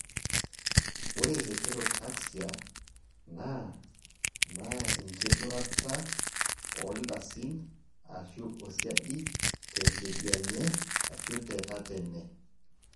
ore heterotaxia naa naa inkidurata oo ldasin aashu osiadi te kedianye ashu te tatene